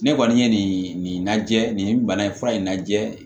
Ne kɔni ye nin lajɛ nin bana in fura in lajɛ